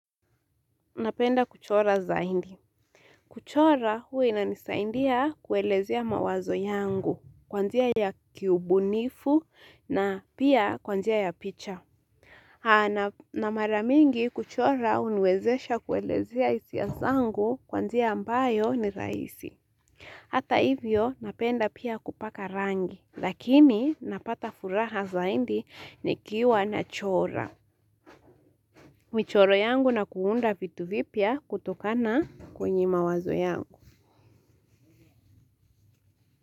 Napenda kuchora zaidi. Kuchora hua inanisaidia kuelezea mawazo yangu. Kwa njia ya kiubunifu na pia kwa njia ya picha. Na mara mingi kuchora uniwezesha kuelezea hisia zangu kwanjia ambayo ni rahisi. Hata hivyo napenda pia kupaka rangi. Lakini napata furaha zaidi nikiwa nachora. Michoro yangu na kuunda vitu vipya kutokana. Kwenye mawazo yangu.